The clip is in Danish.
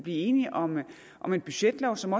enige om om en budgetlov som